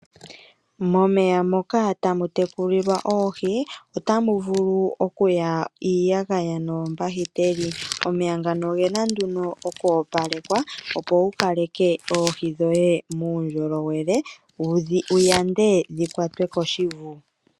Momeya moka tamu tekulilwa oohi otamu vulu okuya iiyagaya noombahiteli, omeya ngano ogena nduno oku opalekwa, opo wu kaleke oohi dhoye muundjolowele wu yande dhi kwatwe koshivu.